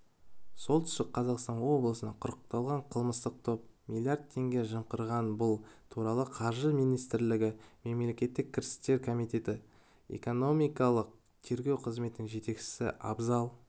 солтүстік қазақстан облысында құрықталған қылмыстық топ миллиард теңге жымқырған бұл туралы қаржы министрлігі мемлекеттік кірістер комитеті экономикалық тергеу қызметінің жетекшісі абзал